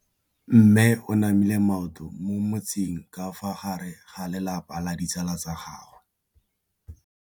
Mme o namile maoto mo mmetseng ka fa gare ga lelapa le ditsala tsa gagwe.